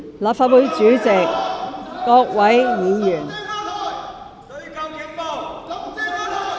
立法會主席、各位議員......